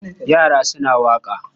Yra suna waƙa.